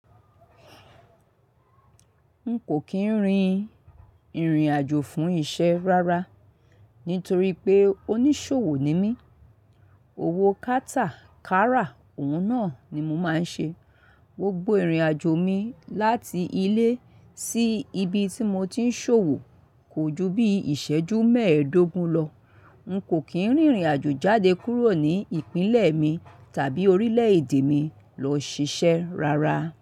N kò kín rìn ìrìn àjò fún isẹ́ rárá nítorí pé oníṣòwò ni mí. Owó kátà, kárà òun náà ni mo máa ń ṣe. Gbogbo ìrìn àjò mi láti ilé sí ibi tí mo ti ń ṣòwò kò ju bí ìsẹ́jú mẹ́ẹ̀ẹ́dógún lọ. N kò kín rìnrìn àjò jáde kúrò ní ìpínlẹ̀ mi tàbí orílẹ̀ èdè mi lọ ṣiṣẹ́ rárá.